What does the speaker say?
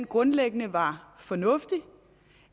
grundlæggende var fornuftig